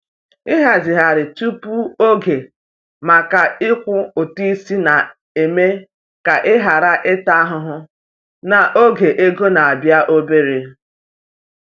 Ịhazigharị tupu oge maka ịkwụ ụtụ isi na-eme ka ị ghara ịta ahụhụ n’oge ego na-abịa obere.